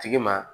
Tigi ma